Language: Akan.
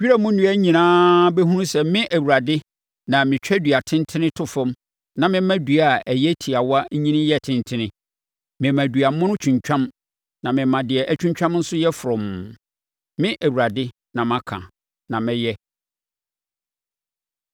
Wira mu nnua nyinaa bɛhunu sɛ, me Awurade na metwa dua tentene to fam na mema dua a ɛyɛ tiawa nyini yɛ tentene. Mema dua mono atwintwam na mema deɛ atwintwam nso yɛ frɔmm. “ ‘Me Awurade na maka, na mɛyɛ.’ ”